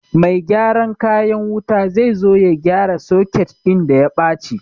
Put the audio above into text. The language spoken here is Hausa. Mai gyaran kayan wuta zai zo ya gyara soket ɗin da ya baci